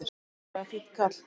Hann er rosalega fínn kall!